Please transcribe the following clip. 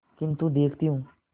किन्तु देखती हूँ